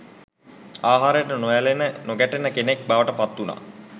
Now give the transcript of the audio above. ආහාරයට නොඇලෙන නොගැටෙන කෙනෙක් බවට පත්වුණා.